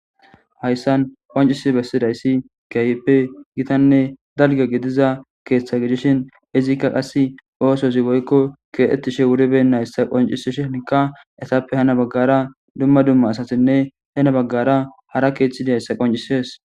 Hayssan qoncisi bessidayssi kyppe gitanne dalge gidiza keeththa gidishin izikka qass oosozi goykko keettishe wuribe nayssa qoncisishika esappe hana baggara dumma dumma asatinne hena baggara hara keeththidayssa qoncisees